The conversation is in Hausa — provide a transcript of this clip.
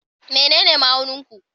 Menene ma'aunin ku?